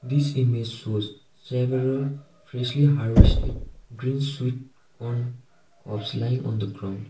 this image shows several freshly harvested green sweet corn crops lying on the ground.